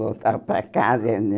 Voltava para casa, né?